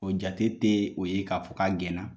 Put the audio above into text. O jate tɛ o ye k'a fɔ ka gɛnna